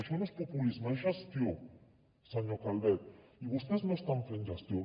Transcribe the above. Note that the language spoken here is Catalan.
això no és populisme és gestió senyor calvet i vostès no estan fent gestió